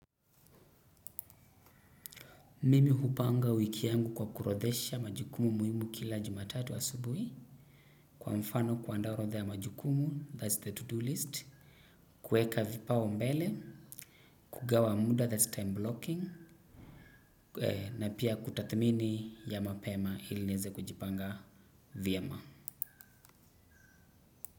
Mimi hupanga wiki yangu kwa kuorodhesha majukumu muhimu kila jumatatu asubuhi. Kwa mfano kuandaa orodha ya majukumu, that's the to-do list. Kueka vipaumbele, kugawa muda that's time blocking. Na pia kutathmini ya mapema ili niweze kujipanga vyema.